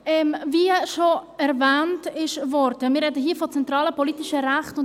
Wie schon erwähnt worden ist, sprechen wir hier über zentrale politische Rechte.